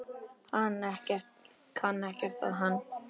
Kann ekkert á hann.